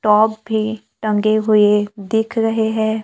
Top भी टंगे हुए दिख रहे है।